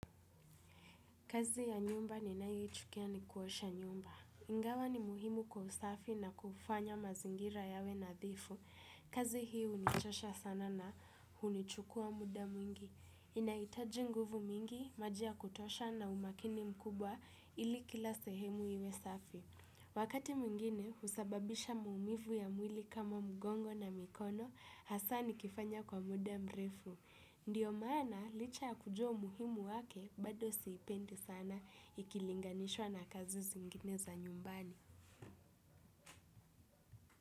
Kazi ya nyumba ninayoichukia ni kuosha nyumba. Ingawa ni muhimu kwa usafi na kufanya mazingira yawe nadhifu. Kazi hii hunichosha sana na hunichukua muda mwingi. Inahitaji nguvu mingi, maji ya kutosha na umakini mkubwa ili kila sehemu iwe safi. Wakati mwingine, husababisha maumivu ya mwili kama mgongo na mikono, hasa nikifanya kwa muda mrefu. Ndiyo maana licha kujua umuhimu wake bado siipendi sana ikilinganishwa na kazi zingine za nyumbani.